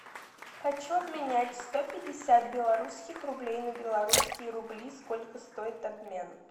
хочу обменять сто пятьдесят белорусских рублей на белорусские рубли сколько стоит обмен